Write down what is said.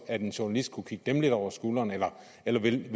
at en journalist kunne kigge dem lidt over skulderen eller eller vil